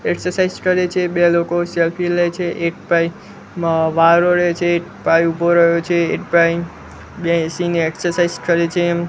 Exercise કરે છે બે લોકો સેલ્ફી લેઇ છે એક ભાઈ અ વાળ ઓળે છે એક ભાઈ ઊભો રહ્યો છે એક ભાઈ બેસીને એક્સરસાઇઝ કરે છે.